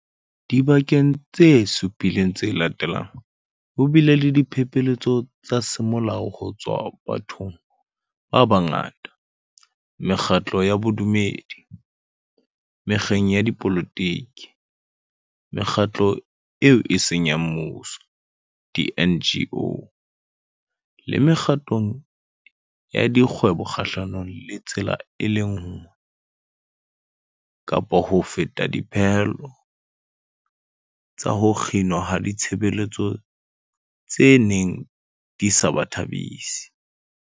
Dibekeng tse supileng tse latelang, ho bile le diphephetso tsa semolao ho tswa bathong ba bangata, mekgatlong ya bodumedi, mekgeng ya dipolotiki, Mekgatlong eo e Seng ya Mmuso di-NGO le mekgatlong ya dikgwebo kgahlanong le tsela e le nngwe kapa ho feta ya dipehelo tsa ho kginwa ha ditshebeletso tse neng di sa ba thabisi.